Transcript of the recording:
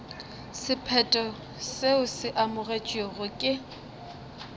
sephetho seo se amogetšwego ke